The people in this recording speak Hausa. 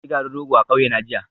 Na sayi garin rogo a kauyena jiya